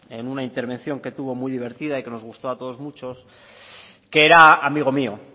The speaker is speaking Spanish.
en una intervención que tuvo muy divertida y que nos gustó a todos mucho que era amigo mío